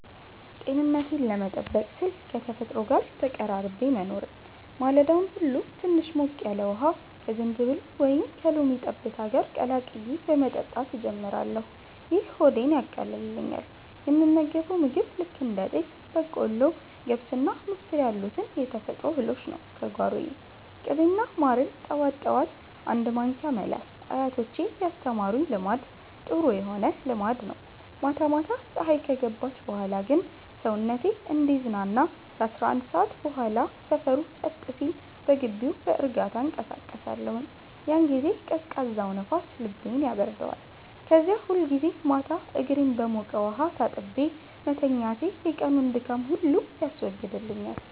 ጤንነቴን ለመጠበቅ ስል ከተፈጥሮ ጋር ተቀራርቤ መኖርን። ማለዳውን ሁሉ ትንሽ ሞቅ ያለ ውሃ ከዝንጅብል ወይም ከሎሚ ጠብታ ጋር ቀላቅዬ በመጠጣት ጀምራለሁ፤ ይህ ሆዴን ያቃልልኛል። የምመገበው ምግብ ልክ እንደ ጤፍ፣ በቆሎ፣ ገብስና ምስር ያሉትን የተፈጥሮ እህሎች ነው፤ ከጓሮዬ። ቅቤና ማርን ጠዋት ጠዋት አንድ ማንኪያ መላስ አያቶቼ ያስተማሩኝ ልማድ ጥሩ ሆነ ልማድ ነው። ማታ ማታ ፀሀይ ከገባች በኋላ ግን ሰውነቴ እንዲዝናና ከ11 ሰዓት በኋላ ሰፈሩ ጸጥ ሲል በግቢው በእርጋታ እንቀሳቀሳለሁኝ። ያን ጊዜ ቀዝቃዛው ንፋስ ልቤን ያበርደዋል። ከዚያ ሁልጊዜ ማታ እግሬን በሞቀ ውሃ ታጥቤ መተኛቴ የቀኑን ድካም ሁሉ ያስወግድልኛል።